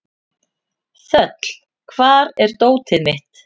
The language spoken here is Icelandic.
Þöll, hvar er dótið mitt?